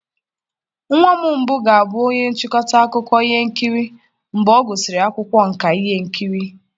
Nwa mbụ m ga-abụ onye nchịkọta akụkọ ihe nkiri mgbe ọ gụsịrị akwụkwọ nka ihe nkiri